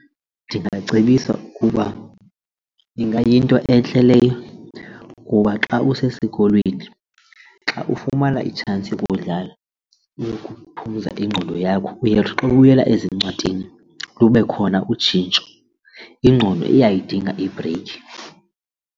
Ndingacebisa ukuba ingayinto entle leyo kuba xa usesikolweni xa ufumana itshansi yokudlala ukuphumza ingqondo yakho uyawuthi xa ubuyela ezincwadini lube khona utshintsho, ingqondo uyayidinga ibhreyikhi.